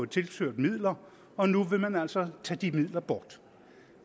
tilført midler og nu vil man altså tage de midler bort